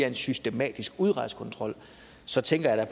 en systematisk udrejsekontrol så tænker jeg